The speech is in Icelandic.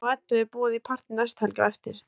Hemma og Eddu er boðið í partí næstu helgi á eftir.